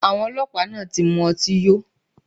Awọn ọlọpa naa ti mu ọti yo